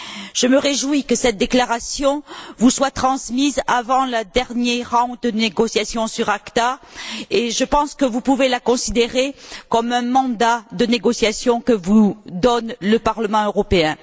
Je me réjouis que cette déclaration vous soit transmise avant le dernier round de négociations sur l'ACTA et je pense que vous pouvez la considérer comme un mandat de négociation que vous donne le Parlement européen.